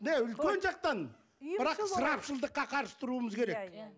үлкен жақтан бірақ ысырапшылдыққа қарсы тұруымыз керек иә